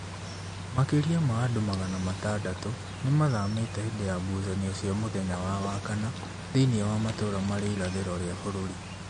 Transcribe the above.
Makĩrĩa ma andũ magana matandatũ nĩmathamĩte hĩndĩ ya ngũcanĩo cia mũthenya wa wakana thĩiniĩ wa matũra marĩ irathĩro rĩa bũrũrĩ.